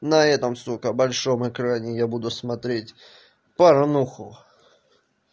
на этом сука большом экране я буду смотреть парнуху